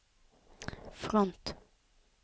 front